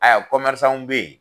kɔmɛrisanw bɛ ye